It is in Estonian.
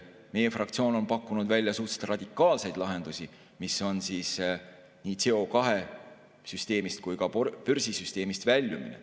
Meie fraktsioon on pakkunud välja suhteliselt radikaalseid lahendusi, nii CO2-süsteemist kui ka börsisüsteemist väljumist.